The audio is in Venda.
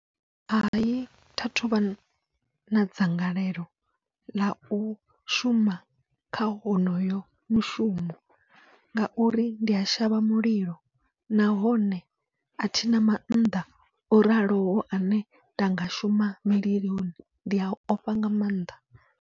Hai thathu vha na dzangalelo ḽau shuma kha honoyo mushumo, ngauri ndi a shavha mulilo nahone athina mannḓa o raloho ane nda nga shuma mililoni ndi a ofha nga maanḓa.